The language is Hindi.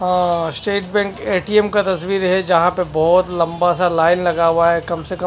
अह स्टेट बैंक ए_टी_एम का तस्वीर है जहां पे बहुत लंबा सा लाइन लगा हुआ है कम से कम--